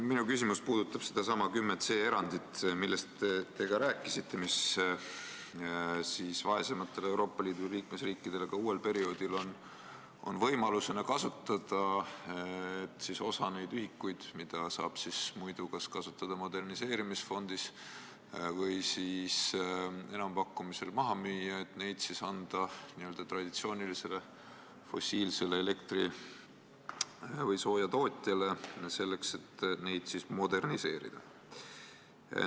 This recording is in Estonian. Minu küsimus puudutab sedasama artikli 10c erandit, millest te rääkisite ja mida vaesematel Euroopa Liidu liikmesriikidel on ka uuel perioodil võimalik kasutada, et osa neid ühikuid, mida muidu saab kasutada moderniseerimisfondis või müüa maha enampakkumisel, anda n-ö traditsioonilisele fossiilsele elektri- või soojatootjale selleks, et tema tegevust moderniseerida.